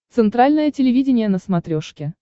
центральное телевидение на смотрешке